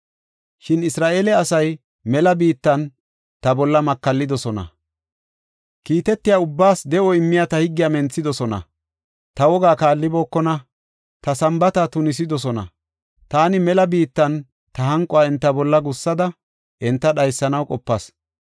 Shin Isra7eele asay mela biittan ta bolla makallidosona. Kiitetyida ubbaas de7o immiya ta higgiya menthidosona; ta wogaa kaallibookona; ta Sambaata tunisidosona. Taani mela biittan ta hanquwa enta bolla gussada enta dhaysanaw qopas.